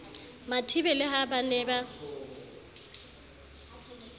mathibe le ha ba ne